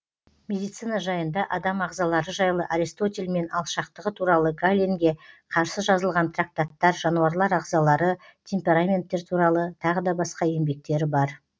медицина жайында адам ағзалары жайлы аристотельмен алшақтығы туралы галенге қарсы жазылған трактаттар жануарлар ағзалары темпераменттер туралы тағы да басқа еңбектері бар